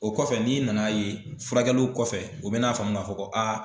O kɔfɛ n'i nana ye furakɛli kɔfɛ o bɛ n'a faamu k'a fɔ ko